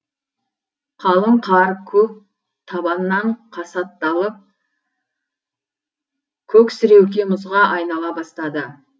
қалың қар көп табаннан қасатталып көксіреуке мұзға айнала бастады